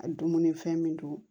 A dumunifɛn min don